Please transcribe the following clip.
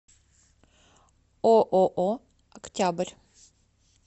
ооо октябрь